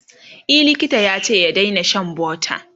e likita yace ya Daina Shan butter